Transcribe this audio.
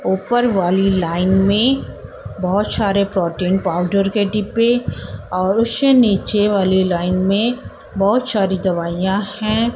उप्पर वाली लाइन में बहोत सारे प्रोटीन पाउडर के डिब्बे और उससे नीचे वाली लाइन में बहोत सारी दवाइयां हैं।